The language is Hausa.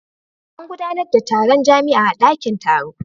An gudanar da taron jami'a a dakin taro.